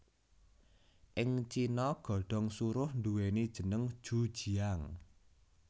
Ing Cina godhong suruh nduwèni jeneng ju jiang